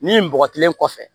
Nin bɔgɔ kelen kɔfɛ